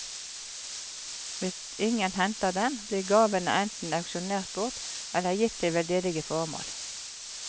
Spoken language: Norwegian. Hvis ingen henter dem, blir gavene enten auksjonert bort, eller gitt til veldedige formål.